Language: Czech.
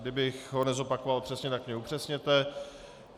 Kdybych ho nezopakoval přesně, tak mě upřesněte.